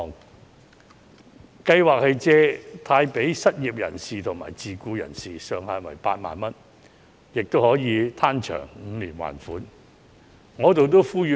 特惠貸款計劃借貸予失業人士和自僱人士，上限為8萬元，最長還款期長達5年。